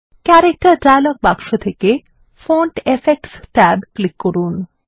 character dialog বাক্স থেকে font effects tab click করুন